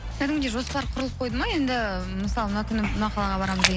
кәдімгідей жоспар құрылып қойды ма енді мысалы мына күні мына қалаға барамыз деген